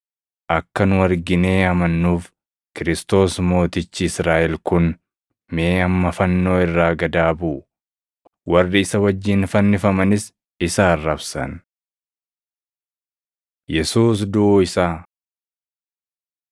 Akka nu arginee amannuuf Kiristoos mootichi Israaʼel kun mee amma fannoo irraa gad haa buʼu.” Warri isa wajjin fannifamanis isa arrabsan. Yesuus Duʼuu Isaa 15:33‑41 kwf – Mat 27:45‑56; Luq 23:44‑49